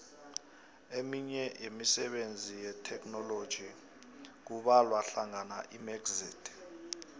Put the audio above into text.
eminye yemisebenzi yetheknoloji kubalwahlangana imxit